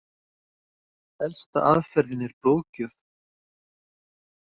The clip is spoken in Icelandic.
Elsta aðferðin er blóðgjöf.